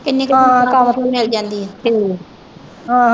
ਹਾਂ ਕਿੰਨੀ ਕੁ ਤਨਖ਼ਾਹ ਮਿਲ ਜਾਂਦੀ ਆ ਹਾਂ।